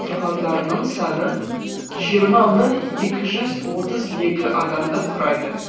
тұрғандарының саны жиырма мың екі жүз отыз екі адамды құрайды